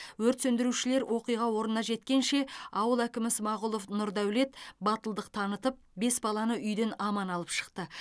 өрт сөндірушілер оқиға орнына жеткенше ауыл әкімі смағұлов нұрдәулет батылдық танытып бес баланы үйден аман алып шықты